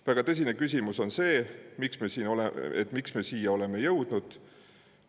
Väga tõsine küsimus on see, miks me siia oleme jõudnud.